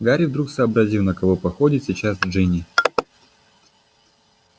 гарри вдруг сообразил на кого походит сейчас джинни